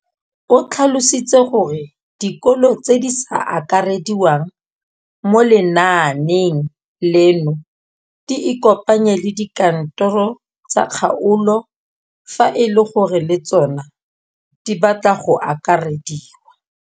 O tlhalositse gore dikolo tse di sa akarediwang mo lenaaneng leno di ikopanye le dikantoro tsa kgaolo fa e le gore le tsona di batla go akarediwa.